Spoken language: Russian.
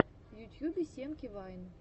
в ютьюбе семки вайн